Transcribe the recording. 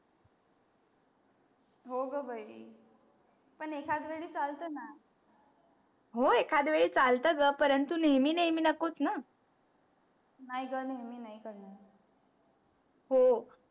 हो ग बाई पण एखदया वेळी चालतण हो एखदया वेळी चालत ग परंतु नेहमी नेहमी नकोच णा नाही ग नेहमी नाही करणार. हो